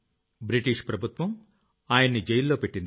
British ప్రభుత్వం ఆయన్ని జైల్లోపెట్టింది